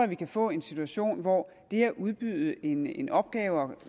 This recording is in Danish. vi kan få en situation hvor det at udbyde en en opgave og